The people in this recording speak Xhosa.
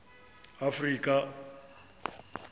afrika